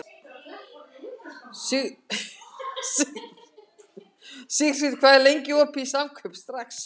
Sigfríð, hvað er lengi opið í Samkaup Strax?